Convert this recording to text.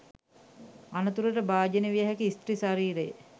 අනතුරට භාජනය විය හැකි ස්ත්‍රී ශරීරය